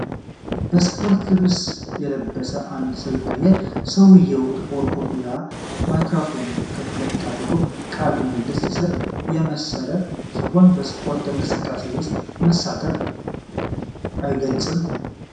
በስፖርት ልብስ የለበሰን አንድ ሰው ያሳያል፤ ሰውየው ጥቁር ኮፍያና ማይክሮፎን ከፊት ለፊቱ አድርጎ ቃለ ምልልስ ሲሰጥ የመሰለ ሲሆን በስፖርታዊ እንቅስቃሴ ውስጥ መሳተፉን አይገልጽም?